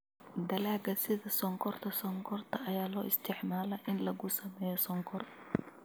Dalagga sida sonkorta sonkorta ayaa loo isticmaalaa in lagu sameeyo sonkor.